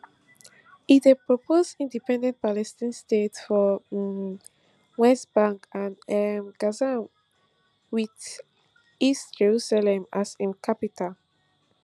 e dey propose independent palestine state for um west bank and um gaza wit east jerusalem as im capital